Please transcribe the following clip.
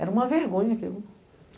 Era uma vergonha aquilo.